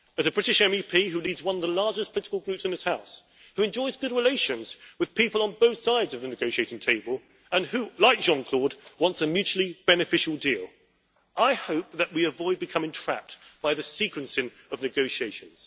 As a British MEP, who leads one of the largest political groups in this House, who enjoys good relations with people on both sides of the negotiating table and who, like Jean Claude, wants a mutually beneficial deal, I hope that we avoid becoming trapped by the sequencing of negotiations.